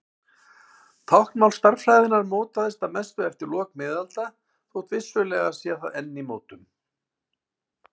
Táknmál stærðfræðinnar mótaðist að mestu eftir lok miðalda þótt vissulega sé það enn í mótun.